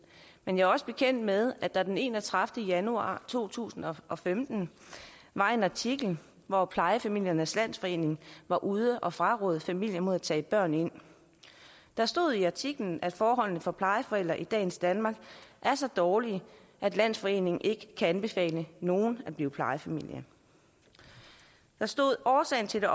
men jeg er også bekendt med at der den enogtredivete januar to tusind og femten var en artikel hvor plejefamiliernes landsforening var ude at fraråde familier at tage børn ind der stod i artiklen at forholdene for plejeforældre i dagens danmark er så dårlige at landsforeningen ikke kan anbefale nogen at blive plejefamilie der stod årsagen til